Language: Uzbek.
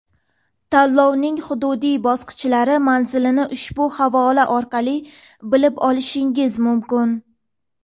Tanlovning hududiy bosqichlari manzilini ushbu havola orqali bilib olishingiz mumkin.